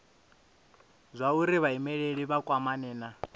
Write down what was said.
zwauri vhaimeleli vha kwamane na